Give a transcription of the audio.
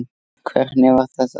Hvernig var þetta?